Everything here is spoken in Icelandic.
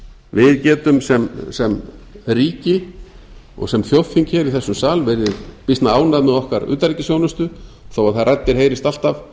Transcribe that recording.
við getum sem ríki og sem þjóðþing hér í þessum sal verið býsna ánægð með okkar utanríkisþjónustu þó að þær raddir heyrist alltaf